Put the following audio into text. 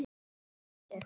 Með svuntu.